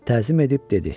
Təzim edib dedi: